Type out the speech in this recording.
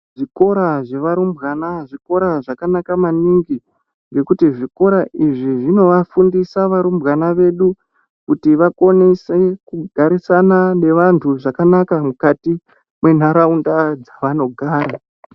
Zvikora zvevarumbwana zvikora zvakanaka maningi , nekuti zvikora izvi zvinovafundisa varumbwana vedu kuti vakonese kugarisana nevantu zvakanaka mukati mwentaraunda dzavanogara.